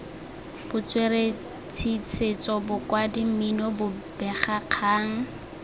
botsweretshi setso bokwadi mmino bobegakgang